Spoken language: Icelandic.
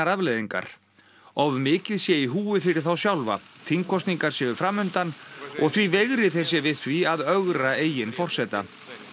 afleiðingar of mikið sé í húfi fyrir þá sjálfa þingkosningar séu og því veigri þeir sér við því að ögra eigin forseta